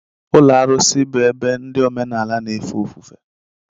Ụlọ arụsị bụ ebe ndị omenala na-efe ofufe.